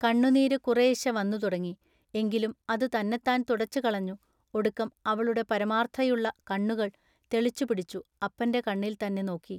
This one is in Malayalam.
കണ്ണുനീരു കുറയശ്ശ വന്നു തുടങ്ങി. എങ്കിലും അതു തന്നെത്താൻ തുടച്ചുകളഞ്ഞു ഒടുക്കം അവളുടെ പരമാൎത്ഥതയുള്ള കണ്ണുകൾ തെളിച്ചു പിടിച്ചു അപ്പന്റെ കണ്ണിൽ തന്നെ നോക്കി.